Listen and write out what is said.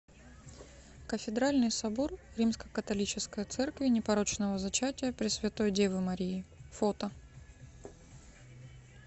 кафедральный собор римско католической церкви непорочного зачатия пресвятой девы марии фото